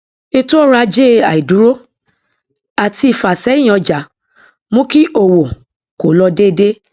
ètòọrọajé àìdúró àti ìfásẹyín ọjà mú kí òwò kò lọ déédé